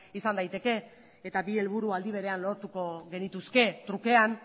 izan daiteke eta bi helburu aldi berean lortuko genituzke trukean